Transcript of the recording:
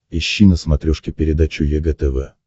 ищи на смотрешке передачу егэ тв